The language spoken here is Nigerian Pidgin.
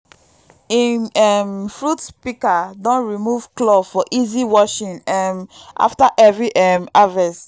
him um fruit pika don remove claw for easy washing um after every um harvest